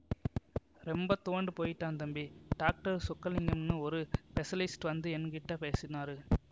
ரொம்ப துவண்டு போயிட்டான் தம்பி டாக்டர் சொக்கலிங்கம்னு ஒரு ஸ்பெஷலிஸ்ட் வந்து எங்கிட்ட பேசினாரு